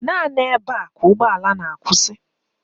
Naanị ebe a ka ụgbọala na-akwụsị